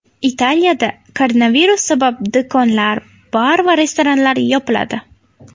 Italiyada koronavirus sabab do‘konlar, bar va restoranlar yopiladi.